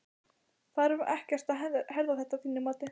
Þarf ekkert að herða þetta að þínu mati?